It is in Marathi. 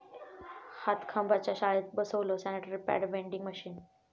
हातखंबाच्या शाळेत बसवलं सॅनिटरी पॅड व्हेंडिंग मशीन